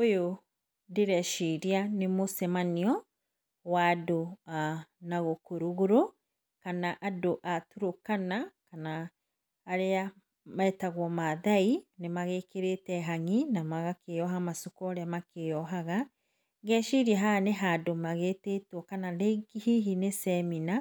Ũyũ ndĩreciria nĩ mũcemanio wa andũ a nagũkũ rũgũrũ kana andũ a Turũkana kana arĩa metagwo mathai, magĩkĩrĩte hang'i na magakĩoha macuka ũrĩa makĩohaga, ngeciria haha nĩ handũ magĩtĩtwo kana hihi nĩ cemina,